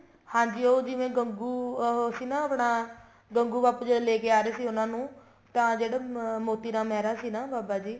ਹਾਂਜੀ ਉਹ ਜਿਵੇਂ ਗੰਗੂ ਅਹ ਉਹ ਸੀ ਆਪਣਾ ਗੰਗੂ ਬਾਪੂ ਜੀ ਜਦ ਲੈਕੇ ਆ ਰਹੇ ਸੀ ਉਹਨਾ ਨੂੰ ਤਾਂ ਜਿਹੜੇ ਮੋਤੀ ਰਾਮ ਮਹਿਰਾ ਸੀ ਨਾ ਬਾਬਾ ਜੀ